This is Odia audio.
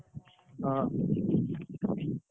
ହଁ